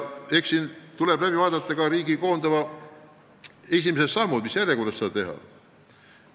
Eks siin tuleb läbi mõelda ka riigi esimesed sammud, mis järjekorras seda teha.